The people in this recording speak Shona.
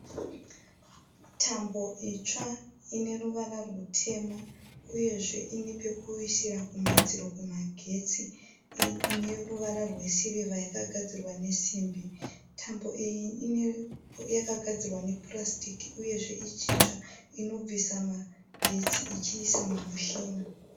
Tambo itsva ineruvara rutema, uyezve inepekuisira kumadziro kumagetsi. Ineruvara rwesirivha yakagadzirwa nesimbi. Tambo iyi yakagadzirwa nepurasitiki uyezve ichitsva inobvisa magetsi ichiisa mumushina.